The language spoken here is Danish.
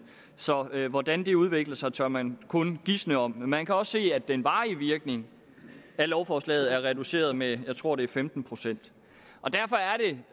så hvordan det udvikler sig tør man kun gisne om men man kan også se at den varige virkning af lovforslaget er reduceret med jeg tror det er femten procent derfor er det